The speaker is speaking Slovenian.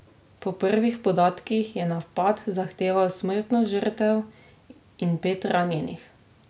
Po prvih podatkih je napad zahteval smrtno žrtev in pet ranjenih.